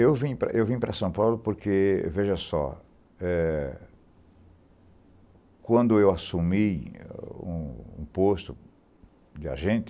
Eu vim para eu vim para São Paulo porque, veja só, eh, quando eu assumi um um posto de agente,